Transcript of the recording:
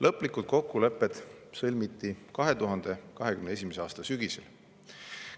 Lõplikud kokkulepped sõlmiti 2021. aasta sügisel.